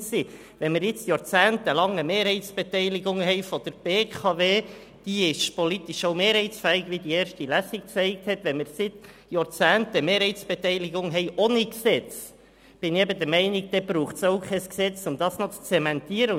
Wie die erste Lesung zeigte, ist die jahrzehntelange Mehrheitsbeteiligung an der BKW mehrheitsfähig, und wenn man seit Jahrzehnten Mehrheitsbeteiligungen ohne Gesetz hat, braucht es meines Erachtens auch kein Gesetz, um diese zu zementieren.